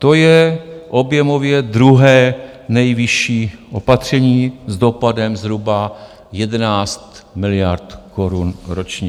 To je objemově druhé nejvyšší opatření s dopadem zhruba 11 miliard korun ročně.